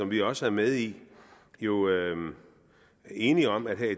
vi også er med i jo enige om at